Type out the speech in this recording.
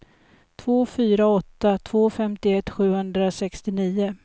två fyra åtta två femtioett sjuhundrasextionio